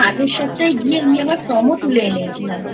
আগের সপ্তাহে গিয়ে উনি আবার Form ও তুলে এনেছিলামI